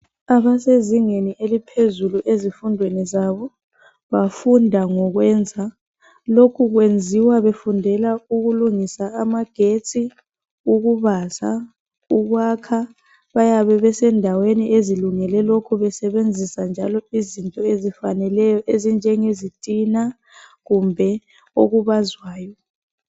Abasezingeni eliphezulu ezifundweni zabo bafunda ngokwenza lokhu kwenziwa befundela ukulungisa amagetsi, ukubaza, ukwakha bayabe besendaweni ezilungele lokho besebenzisa njalo izinto ezifaneleyo ezinjengezitina kumbe okubazwayo.